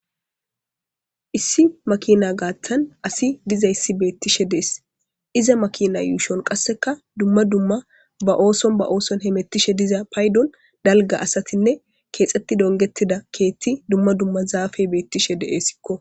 Issi makina gaathan asi diza issi beettishe dees iza makina yuushon qasseka dumma dumma ba ooson ba ooson hemettishe diza paydon dalga asatinne keexxetti dongettida keethti dumma dumma zaafe beettishe de'essikko